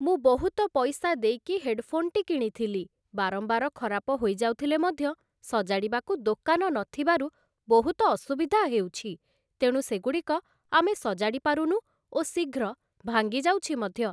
ମୁଁ ବହୁତ ପଇସା ଦେଇକି ହେଡ଼ଫୋନ୍‌ଟି କିଣିଥିଲି । ବାରମ୍ବାର ଖରାପ ହୋଇଯାଉଥିଲେ ମଧ୍ୟ ସଜାଡ଼ିବାକୁ ଦୋକାନ ନଥିବାରୁ ବହୁତ ଅସୁବିଧା ହେଉଛି । ତେଣୁ ସେଗୁଡ଼ିକ ଆମେ ସଜାଡ଼ିପାରୁନୁ ଓ ଶୀଘ୍ର ଭାଙ୍ଗିଯାଉଛି ମଧ୍ୟ ।